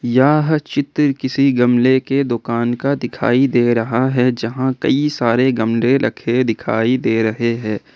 यह चित्र किसी गमले के दुकान का दिखाई दे रहा है जहां कई सारे गमले रखे दिखाई दे रहे हैं।